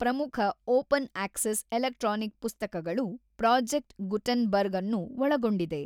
ಪ್ರಮುಖ open access electronic ಪುಸ್ತಕಗಳು project Gutenberg ಅನ್ನು ಒಳಗೊಂಡಿದೆ.